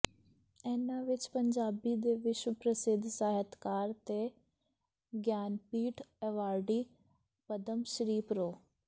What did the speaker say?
ਇਨ੍ਹਾਂ ਵਿੱਚ ਪੰਜਾਬੀ ਦੇ ਵਿਸ਼ਵ ਪ੍ਰਸਿੱਧ ਸਾਹਿਤਕਾਰ ਤੇ ਗਿਆਨਪੀਠ ਐਵਾਰਡੀ ਪਦਮ ਸ੍ਰੀ ਪ੍ਰੋ